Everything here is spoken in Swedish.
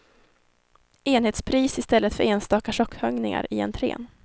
Enhetspris i stället för enstaka chockhöjningar i entren.